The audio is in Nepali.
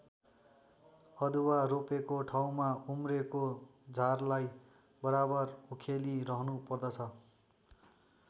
अदुवा रोपेको ठाउँमा उम्रेको झारलाई बराबर उखेली रहनु पर्दछ।